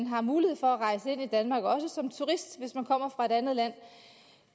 har mulighed for at rejse ind i danmark hvis man kommer fra et andet land